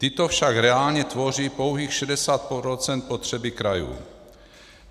Tyto však reálně tvoří pouhých 60 % potřeby krajů.